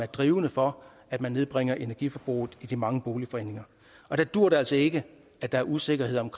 drivkraft for at nedbringe energiforbruget i de mange boligforeninger og der duer det altså ikke at der er usikkerhed om